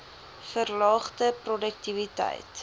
verlaagde p roduktiwiteit